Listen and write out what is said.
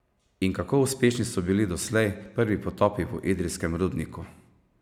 In kako uspešni so bili doslej prvi potopi v idrijskem rudniku?